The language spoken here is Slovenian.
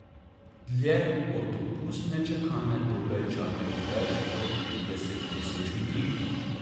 Dlje od dopustne čakalne dobe čaka že več kot trideset tisoč ljudi.